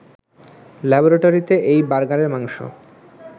ল্যাবরেটরিতে এই বার্গারের মাংস